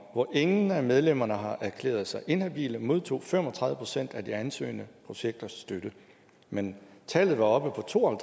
hvor ingen af medlemmerne har erklæret sig inhabile modtog fem og tredive procent af de ansøgende projekter støtte men tallet var oppe på to og